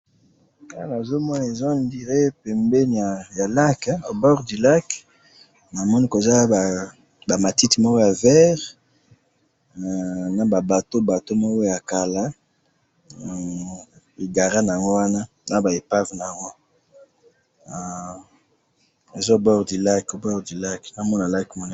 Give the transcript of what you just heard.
Nazo mona, eza nzela pembeni ya lac, na moni ba matiti ya vert na ba bwato ya kala, na ba epave egare wana.